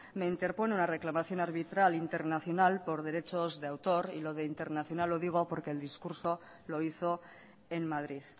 me interpone una reclamación arbitral internacional por derechos de autor y lo de internacional lo digo porque el discurso lo hizo en madrid